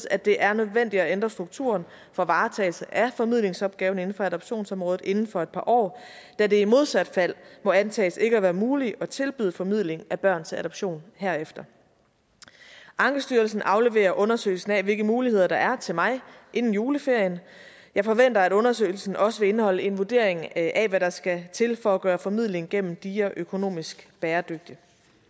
at det er nødvendigt at ændre strukturen for varetagelse af formidlingsopgaven inden for adoptionsområdet inden for et par år da det i modsat fald må antages ikke at være muligt at tilbyde formidling af børn til adoption herefter ankestyrelsen afleverer undersøgelsen af hvilke muligheder der er til mig inden juleferien jeg forventer at undersøgelsen også vil indeholde en vurdering af hvad der skal til for at gøre formidling gennem dia økonomisk bæredygtig